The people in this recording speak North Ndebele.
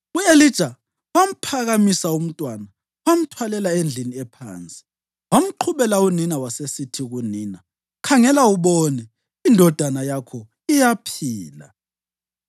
U-Elija wamphakamisa umntwana wamthwalela endlini ephansi. Wamqhubela unina wasesithi kunina, “Khangela ubone, indodana yakho iyaphila!”